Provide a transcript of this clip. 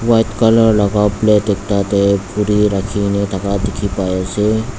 white colour laga plate puri rakhi kena thaka dekhi pai ase.